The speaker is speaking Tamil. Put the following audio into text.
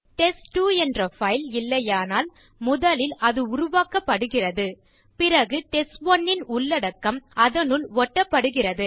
டெஸ்ட்2 என்ற பைல் இல்லையானால் முதலில் அது உருவாக்கப்படுகிறது பிறகு டெஸ்ட்1 ன் உள்ளடக்கம் அதனுள் ஒட்டப்படுகிறது